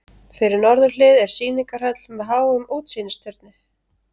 Fyrir norðurhlið er sýningarhöll með háum útsýnisturni.